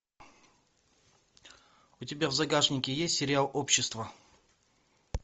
у тебя в загашнике есть сериал общество